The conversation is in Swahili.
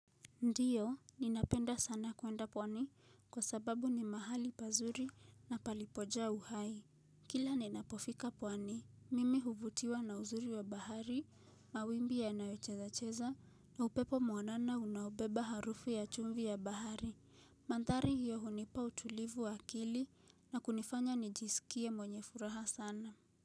Ndio, ninapenda sana kuenda pwani kwa sababu ni mahali pazuri na palipojaa uhai. Kila ninapofika pwani, mimi huvutiwa na uzuri wa bahari, mawimbi yanayocheza cheza na upepo mwanana unaobeba harufu ya chumvi ya bahari. Mandhari hiyo hunipa utulivu wa kili na kunifanya nijisikie mwenye furaha sana.